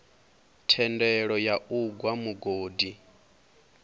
thendelo ya u gwa mugodi